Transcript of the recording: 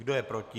Kdo je proti?